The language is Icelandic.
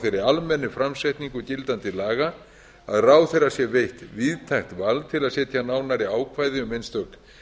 þeirri almennu framsetningu gildandi laga að ráðherra sé veitt víðtækt vald til að setja nánari ákvæði um einstök